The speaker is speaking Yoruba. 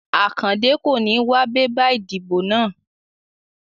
Akande kò ní wá bébà ìdìbò náà